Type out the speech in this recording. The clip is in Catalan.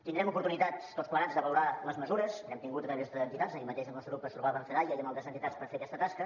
tindrem oportunitat tots plegats de valorar les mesures n’hem tingut a través d’entitats ahir mateix el nostre grup es trobava amb fedaia i amb altres entitats per fer aquesta tasca